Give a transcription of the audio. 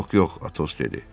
Yox, yox, Atos dedi.